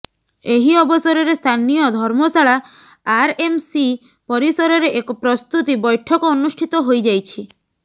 ଏହି ଅବସରରେ ସ୍ଥାନୀୟ ଧର୍ମଶାଳା ଆର୍ ଏମ୍ ସି ପରିସରରେ ଏକ ପ୍ରସ୍ତୁତି ବୈଠକ ଅନୁଷ୍ଠିତ ହୋଇଯାଇଛି